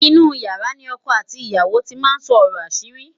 inú yàrá ní ọkọ àti ìyàwó tí má sọ ọrọ asiri